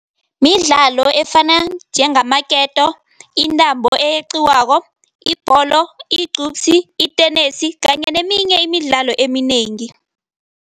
Midlalo efana njengamaketo, intambo eyeqiwako, ibholo, igcubsi, itenesi kanye neminye imidlalo eminengi.